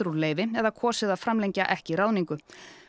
úr leyfi eða kosið að framlengja ekki ráðningu